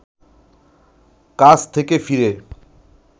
কাজ থেকে ফিরে